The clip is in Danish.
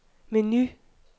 menu